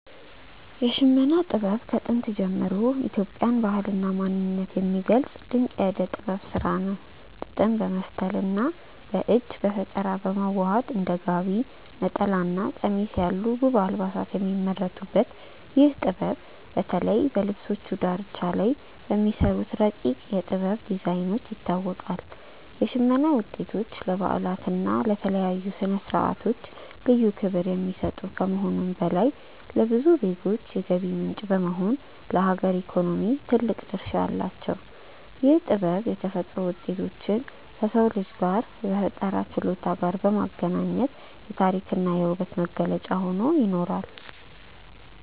የሽመና ጥበብ ከጥንት ጀምሮ የኢትዮጵያን ባህልና ማንነት የሚገልጽ ድንቅ የእደ ጥበብ ስራ ነው። ጥጥን በመፍተልና በእጅ በፈጠራ በማዋሃድ እንደ ጋቢ፣ ነጠላና ቀሚስ ያሉ ውብ አልባሳት የሚመረቱበት ይህ ጥበብ፣ በተለይ በልብሶቹ ዳርቻ ላይ በሚሰሩት ረቂቅ የ"ጥበብ" ዲዛይኖች ይታወቃል። የሽመና ውጤቶች ለበዓላትና ለተለያዩ ስነ-ስርዓቶች ልዩ ክብር የሚሰጡ ከመሆኑም በላይ፣ ለብዙ ዜጎች የገቢ ምንጭ በመሆን ለሀገር ኢኮኖሚ ትልቅ ድርሻ አላቸው። ይህ ጥበብ የተፈጥሮ ውጤቶችን ከሰው ልጅ የፈጠራ ችሎታ ጋር በማገናኘት የታሪክና የውበት መገለጫ ሆኖ ይኖራል።